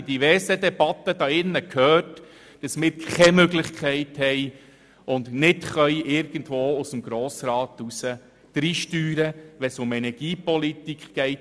Wir haben in diversen Debatten in diesem Saal gehört, dass wir keine Möglichkeit haben, seitens des Grossrats mitzusteuern, wenn es um Energiepolitik geht.